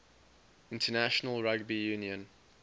international rugby union